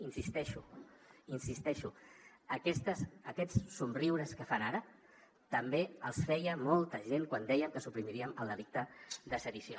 hi insisteixo hi insisteixo aquests somriures que fan ara també els feia molta gent quan dèiem que suprimiríem el delicte de sedició